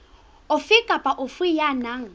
ofe kapa ofe ya nang